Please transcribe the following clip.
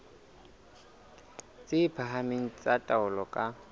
tse phahameng tsa taolo ka